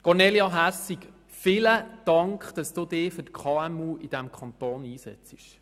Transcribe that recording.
Grossrätin Hässig, vielen Dank, dass Sie sich für die KMU in diesem Kanton einsetzen.